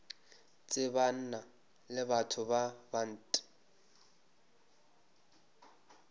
tsebana le batho ba bant